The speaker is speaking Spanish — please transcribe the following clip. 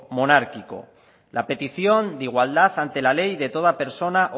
monárquico la petición de igualdad ante la ley de toda persona